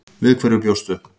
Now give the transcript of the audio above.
Við hverju bjóstu?